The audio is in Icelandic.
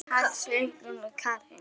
Katrín segir málin verða rædd.